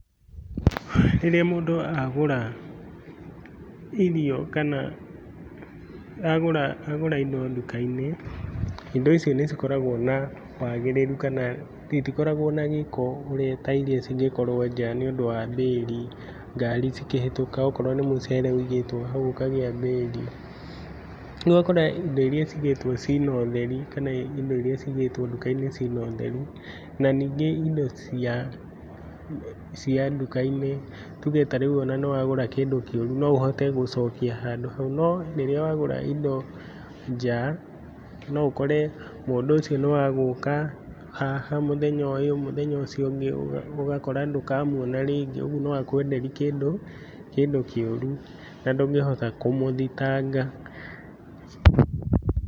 Rĩrĩa mũndũ agũra irio kana agũra, agũra indo nduka-inĩ, indo icio nĩcikoragwo na wagĩrĩru kana itikoragwo na gĩko ta iria cingĩkorwo nja nĩũndũ wa mbĩri, ngarĩ cikĩhĩtũka akorwo nĩ mũcere wigĩtwo hau ũkagĩa mbĩri. Rĩu ũgakora indo iria ciigĩtwo ciina ũtheri kana indo iria ciigĩtwo nduka-inĩ ciina ũtheru, na ningĩ indo cia cia nduka-inĩ, tuge ta rĩu ona nĩwagũra kĩndũ kĩũru no ũhote gũcokia handũ hau. No rĩrĩa wagũra indo nja, no ũkore mũndũ ũcio nĩ wa gũũka haha mũthenya ũyũ, mũthenya ũcio ũngĩ ũgakora ndũkamuona rĩngĩ, ũguo no akwenderi kĩndũ kĩũru na ndũngĩhota kũmũthitanga.